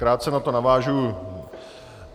Krátce na to navážu.